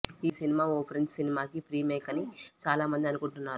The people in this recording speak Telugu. ఈ సినిమా ఓ ఫ్రెంచి సినిమా కి ఫ్రీమేకని చాలా మంది అనుకుంటున్నారు